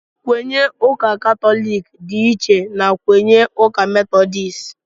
Nkwenye ụka katọliki dị iche na nkwenye ụka metọdisti